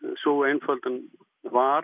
sú einföldun var